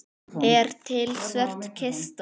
Er til svört kista?